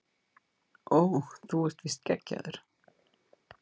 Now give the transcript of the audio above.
Ó þú ert víst geggjaður